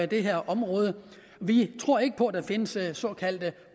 det her område vi tror ikke på at der findes såkaldte